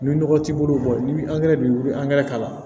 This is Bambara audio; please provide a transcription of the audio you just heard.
Ni nɔgɔ t'i bolo ni angɛrɛ b'i wuli k'a la